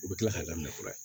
U bɛ tila k'a daminɛ fura ye